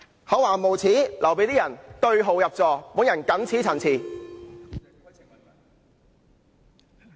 厚顏無耻就留待某些人對號入座，我謹此陳辭。